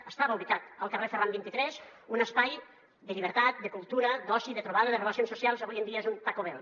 que estava ubicat al carrer ferran vint tres un espai de llibertat de cultura d’oci de trobada de relacions socials avui en dia és un taco bell